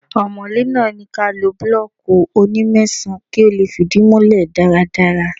Ọmọ̀lé náà ní kí a lo búlọ́ọ́kì oní mẹ́sàn-án kí ó lè fìdí múlẹ̀ dáradára.